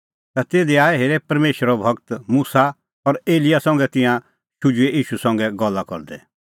ता तिधी आऐ हेरे परमेशरो गूर मुसा और एलियाह संघा तिंयां शुझुऐ ईशू संघै गल्ला करदै